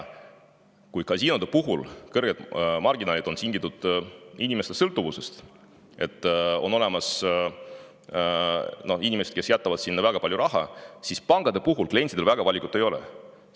Kui kasiinode kõrged marginaalid on tingitud inimeste sõltuvusest, sest on olemas inimesed, kes jätavad väga palju raha, siis pankade klientidel valikut väga ei ole.